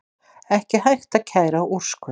Ekki hægt að kæra úrskurð